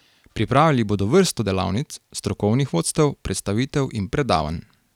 Pripravili bodo vrsto delavnic, strokovnih vodstev, predstavitev in predavanj.